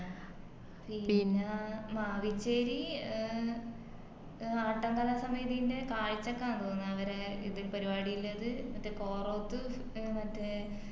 പിന്നാ മാവിച്ചേരി എഹ് എഹ് ആട്ടം കലാസമിതിന്റെ തോന്നിന്ന് അവരെ ഇത് പരിപാടിളെത് മറ്റേ കോറോത്ത് മറ്റെ